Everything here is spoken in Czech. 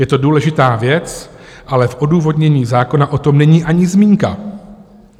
Je to důležitá věc, ale v odůvodnění zákona o tom není ani zmínka.